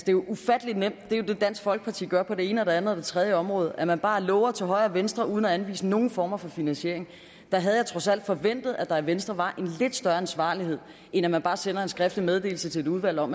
det er ufattelig nemt det er jo det dansk folkeparti gør på det ene det andet og det tredje område man bare lover til højre og venstre uden at anvise nogen former for finansiering der havde jeg trods alt forventet at der i venstre var en lidt større ansvarlighed end at man bare sender en skriftlig meddelelse til et udvalg om